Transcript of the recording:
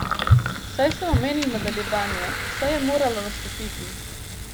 Saj sem omenil nadaljevanje, saj je moralo nastopiti.